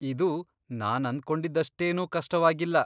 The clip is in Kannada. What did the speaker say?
ಇದು ನಾನಂದ್ಕೊಂಡಿದ್ದಷ್ಟೇನೂ ಕಷ್ಟವಾಗಿಲ್ಲ.